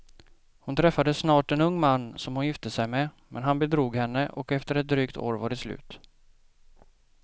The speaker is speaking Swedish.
Hon träffade snart en ung man som hon gifte sig med, men han bedrog henne och efter ett drygt år var det slut.